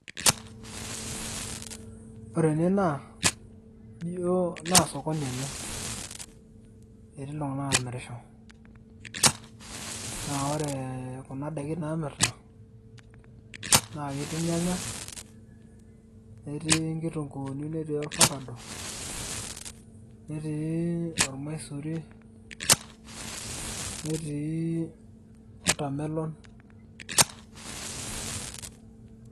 ore enaa naa ijo sokoni ena. etii iltunganak aamirisho, naa ore kuna daikin naamirita naa ketii irnyanya, netii nkitunkuuni, netii orfakado. netiii ormaisuri, netii watermelon.